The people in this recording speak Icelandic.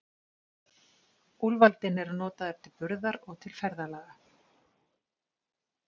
Úlfaldinn er notaður til burðar og til ferðalaga.